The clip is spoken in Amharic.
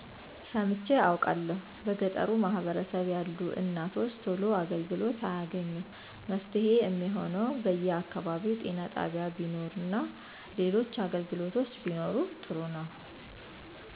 ሰምቸ አቃለሁ በገጠሩ ማህበረሰብ ያሉ እናቶች ቶሎ አገልግሎት አያገኙም መፍትሄ የሚሆነው በየ አከባቢው ጤና ጣቢያ ቢኖር እና ሌሎች አገልግሎቶች ቢኖሩ ጥሩ ነው